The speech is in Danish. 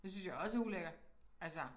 Det synes jeg også er ulækkert altså